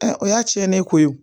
o y'a cɛnnen ko ye o